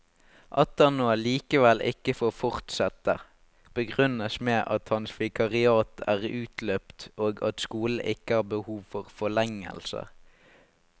At han nå likevel ikke får fortsette, begrunnes med at hans vikariat er utløpt og at skolen ikke har behov for forlengelse.